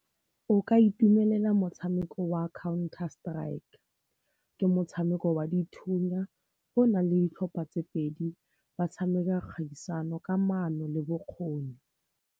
O ka itumelela motshameko wa Counter-Strike. Ke motshameko wa dithunya o nang le ditlhopha tse pedi, ba tshameka kgaisano ka maano le bokgoni.